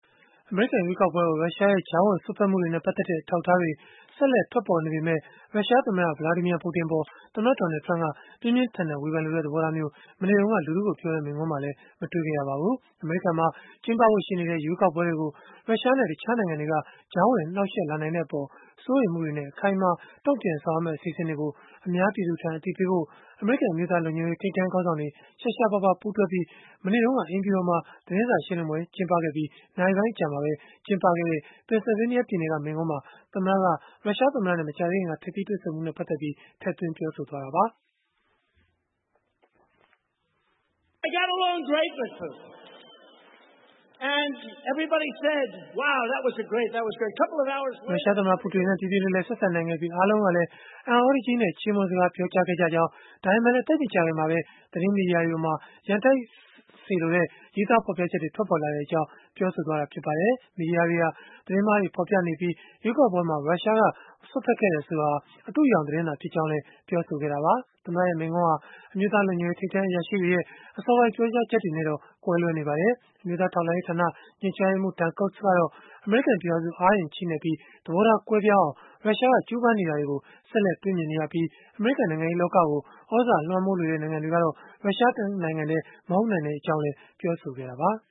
အမေရိကန် ရွေးကောက်ပွဲကို ရုရှားရဲ့ ကြားဝင်စွက်ဖက်မှုတွေနဲ့ ပတ်သက်တဲ့ အထောက်အထားတွေ ဆက် လက်ထွက်ပေါ်နေပေမဲ့ ရုရှားသမ္မတ Vladimir Putin အပေါ် သမ္မတ Donald Trump က ပြင်းပြင်းထန်ထန် ဝေဖန်လိုတဲ့ သဘောထားမျိုး မနေ့တုန်းက လူထုကိုပြောတဲ့ မိန့်ခွန်းမှာလည်း မတွေ့ခဲ့ရပါဘူး။ အမေရိကန်မှာ ကျင်းပဖို့ရှိနေတဲ့ ရွေးကောက်ပွဲတွေကို ရုရှားနဲ့ တခြားနိုင်ငံတွေက ကြားဝင်နှောင့်ယှက် လာနိုင်တဲ့အပေါ် စိုးရိမ်မှုတွေနဲ့ အခိုင်အမာ တုံ့ပြန်ဆောင်ရွက်မယ့် အစီအစဉ်တွေကို အများပြည်သူထံ အသိပေးဖို့ အမေရိကန် အမျိုးသားလုံခြုံရေး ထိပ်တန်း ခေါင်းဆောင်တွေ ရှားရှားပါးပါး ပူးတွဲပြီး မနေ့တုန်းက သမ္မတအိမ်ဖြူတော်မှာ သတင်းစာရှင်းလင်းပွဲ ကျင်းပခဲ့ပြီး နာရီပိုင်းအကြာမှာပဲ ကျင်းပခဲ့တဲ့ ပင်ဆယ်ဗေးနီးယားပြည်နယ်က မိန့်ခွန်းမှာ သမ္မတက ရုရှားသမ္မတနဲ့ မကြာသေးခင်က ထိပ်သီးတွေ့ဆုံမှုနဲ့ ပတ်သက်လို့ ထည့်သွင်းပြောဆိုလိုက်တာပါ။ ရုရှားသမ္မတ ပူတင်နဲ့ ပြေပြေလည်လည် ဆက်ဆံနိုင်ခဲ့ပြီး အားလုံးကလည်း အံ့သြတကြီးနဲ့ ချီးမွမ်းစကား ပြောခဲ့ကြကြောင်း၊ ဒါပေမဲ့လည်း သိပ်မကြာခင်မှာပဲ သတင်းမီဒီယာတွေမှာ ရန်တိုက်ချင်တဲ့ ရေးသား ဖော်ပြ ချက်တွေ ထွက်ပေါ်လာ ခဲ့ကြောင်း ပြောဆိုခဲ့တာ ဖြစ်ပါတယ်။ မီဒီယာတွေဟာ သတင်းမှားတွေ ဖော်ပြနေ ကြပြီး ရွေးကောက်ပွဲမှာ ရုရှားက စွက်ဖက်ခဲ့တယ်ဆိုတာဟာ အတုအယောင် သတင်းသာ ဖြစ်ကြောင်းလည်း ပြောဆိုခဲ့တာပါ။ သမ္မတရဲ့မိန့်ခွန်းဟာ အမျိုးသားလုံခြုံရေး ထိပ်တန်းအရာရှိတွေရဲ့ အစောပိုင်း ပြောကြားချက်တွေနဲ့တော့ ကွဲလွဲ နေပါတယ်။ အမျိုးသားထောက်လှမ်းရေးဌာန ညွှန်ကြားရေးမှူး Dan Coats ကတော့ အမေရိကန် ပြည်ထောင်စု အားအင် ချည့်နဲ့ပြီး သဘောထားကွဲပြားအောင် ရုရှားကကြိုးပမ်းနေတာတွေကို ဆက်လက် တွေ့မြင်နေရပြီး အမေရိကန် နိုင်ငံရေးလောကကို သြဇာလွှမ်းမိုးလိုတဲ့ နိုင်ငံတွေ ကတော့ ရုရှားတနိုင်ငံတည်း မဟုတ်ကြောင်း လည်း ပြောဆိုခဲ့တာပါ။